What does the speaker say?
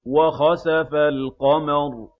وَخَسَفَ الْقَمَرُ